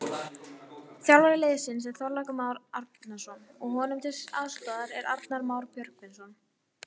Þjálfari liðsins er Þorlákur Már Árnason og honum til aðstoðar er Arnar Már Björgvinsson.